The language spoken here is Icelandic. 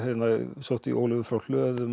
sótti í Ólöfu frá hlöðum